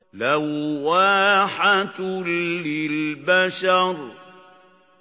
لَوَّاحَةٌ لِّلْبَشَرِ